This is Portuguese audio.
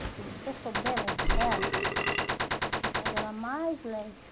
Mas se você souber levar ela, você faz ela mais leve.